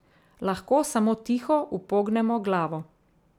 Lahko samo tiho upognemo glavo.